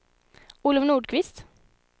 Olov Nordqvist